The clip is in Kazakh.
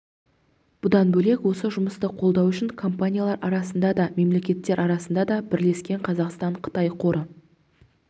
бұдан бөлек осы жұмысты қолдау үшін компаниялар арасында да мемлекеттер арасында да бірлескен қазақстан-қытай қоры